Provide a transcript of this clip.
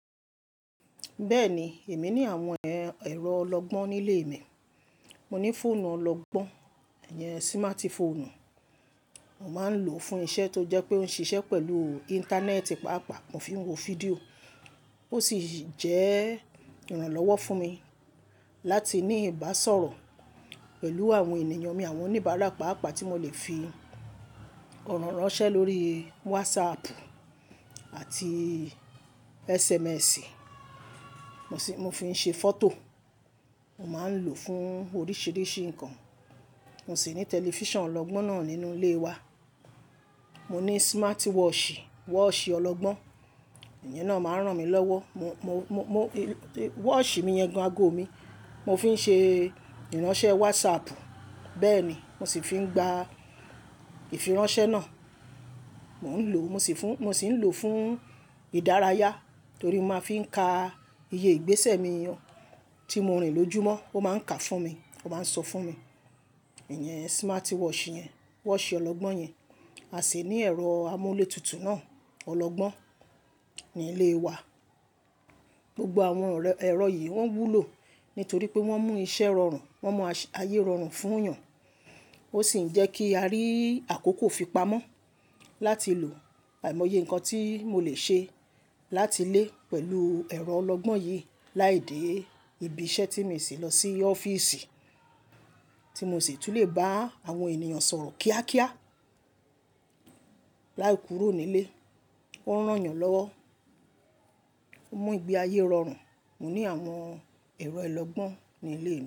Bẹ́ẹ̀ni, èmi ní àwọn ẹ̀rọ ọlọ́gbọ́n nílé mi. Mo ní fóònù ọlọ́gbọ́n, ẹyen smart phone, mo máa ń lò ó fún iṣẹ́ tó jẹ́ pé ó ń ṣiṣẹ́ pẹ̀lú íńtánẹ́ẹ̀tì pàápàá, mo fi ń wo fídíò ó sì jẹ́ ìrànlọ́wọ́ fún mi láti ní ìbásọ̀rọ̀ pẹ̀lú àwọn ènìyàn mi, àwọn oníbàárà pàápàá tí mo lè fi ọ̀rọ̀ ránṣẹ́ lórí Whatsapp àti SMS. Mo sì moń fi ṣe fọ́tò, mo máa ń lò ó fún oríṣìíríṣìí ǹkan. Mo sì ní tẹlifíṣàn ọlọ́gbọ́n náà nínú ilé wa. Mo ní smart watch, watchì ọlọ́gbọ́n, èyí náà máa ń ràn mí lọ́wọ́. Mo, mo, mo, watch mi yẹn gan ago mi, mo fi ń ṣe ìránṣẹ́ Whatsapp. Bẹ́ẹ̀ ni, mo sì fi ń gba ìfiránsẹ́ náà. Mò ń lò, mo sì ń lò fún ìdárayá torí mo máa ń fi ka iye ìgbésẹ̀ mi tí mo rìn lójúmọ́, ó máa ń ka fún mi, ó máa ń sọ fún mi. Ẹ̀yen smart watch yẹn, watch ọlọ́gbọ́n yẹn, a sì ní ẹ̀rọ amúlé tutù náà, ọlọ́gbọ́n ní ilé wa. Gbogbo àwọn ẹ̀rọ yìí wọ́n wúlò nítorí pé wọ́n mú iṣẹ́ rọrùn, wọ́n mọ ayé rọrùn fún yàn. Ó sì ń jẹ́ kí a rí àkókò fipamọ́ láti lò àìmọye ǹkan tí mo lè ṣe láti lé pẹ̀lú ẹ̀rọ ọlọ́gbọ́n yìí láídé ibi iṣẹ́ tí mi ṣì lọ sí ọ́fíìsì tí mo sì tún lè bá àwọn ènìyàn sọ̀rọ̀ kíákíá láì kúró nílé. Ó ń ràn yàn lọ́wọ́, ó mú ìgbé ayé rọrùn. Mo ní àwọn ẹ̀rọ ọlọ́gbọ́n nílé mi.